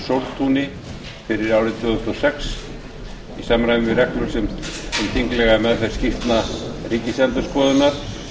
sóltúni fyrir árið tvö þúsund og sex í samræmi við reglur um þinglega meðferð skýrslna ríkisendurskoðunar